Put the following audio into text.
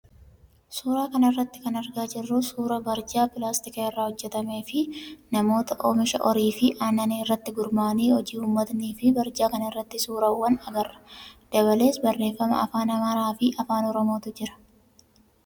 Suuraa kanarraa kan argaa jirru suuraa barjaa pilaastika irraa hojjatamee fi namoota oomisha horii fi aannanii irratti gurmaa'anii hojii uummatanii fi barjaa kanarratti suuraa swwaanii agarra. Dabalees barreeffama afaan amaaraa fi afaan oromootu jira.